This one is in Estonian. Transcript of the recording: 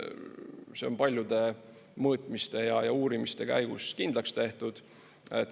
See on paljude mõõtmiste ja uurimiste käigus kindlaks tehtud.